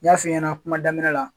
N y'a f'i ɲɛna kuma daminɛ la.